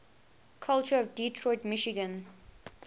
culture of detroit michigan